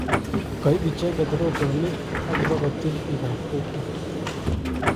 Koip icheket rotonik akipokotil pikap kokwet.